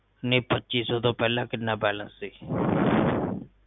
ਨਹੀਂ ਪੱਚੀ ਸੋ ਤੋਂ ਪਹਿਲਾ ਕੀਨਾ ਬੈਲੰਸ ਸੀ